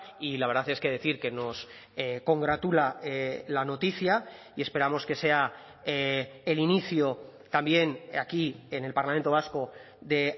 y la verdad es que decir que nos congratula la noticia y esperamos que sea el inicio también aquí en el parlamento vasco de